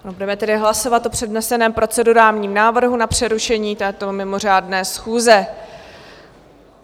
Budeme tedy hlasovat o předneseném procedurálním návrhu na přerušení této mimořádné schůze.